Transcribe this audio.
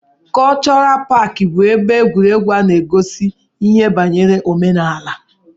Kọlchọral paaki bụ ebe egwuregwu a na-egosi ihe banyere omenala.